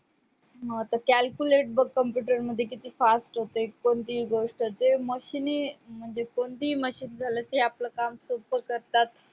मग आता calculate बघ आता किती fast होतय कोणतीही गोष्ट ते machine म्हणजे कोणतेही machine झालं जे आपलं काम सोप्प करतात